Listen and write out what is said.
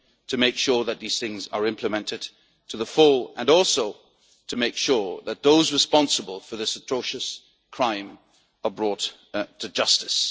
to make sure that these things are implemented to the full, and also to make sure that those responsible for this atrocious crime are brought to justice.